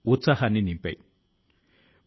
మీరు దీన్ని ఇష్టపడ్డారు